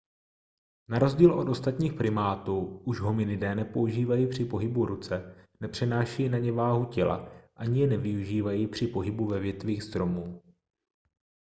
na rozdíl od ostatních primátů už hominidé nepoužívají při pohybu ruce nepřenášejí na ně váhu těla ani je nevyužívají při pohybu ve větvích stromů